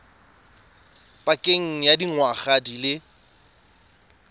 pakeng ya dingwaga di le